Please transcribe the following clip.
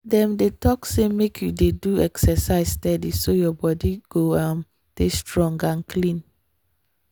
dem dey talk say make you dey do exercise steady so your body go um dey strong and clean.